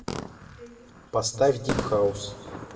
поставь дип хаус